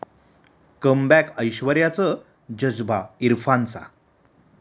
comeback ऐश्वर्याचं 'जज्बा' इरफानचा